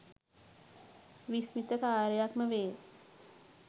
විස්මිත කාර්යයක්ම වේ